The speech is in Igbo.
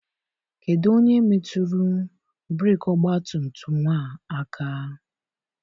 Kedụ onye metụrụ breeki ọgbatumtum a aka?